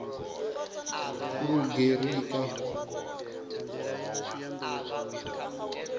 lugerika